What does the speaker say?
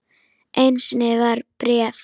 Einu sinni var bréf.